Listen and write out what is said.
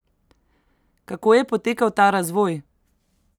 Kako je potekal ta razvoj?